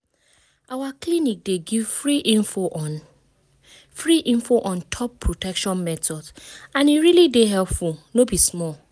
our clinic dey give free info on free info on top protection methods and e really dey helpful no be small.